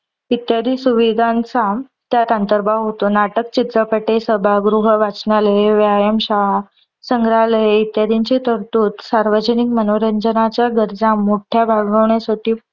इत्यादी सुविदांचा त्यात अंतर्भाव होतो. नाटक, चित्रपटे, सभागृह, वाचनालय, व्यायाम शाळा, संग्रहालये इत्यादींचे तरतूद सार्वजनिक मनोरंजनाच्या गरजा मोठ्या भागवण्यासाठी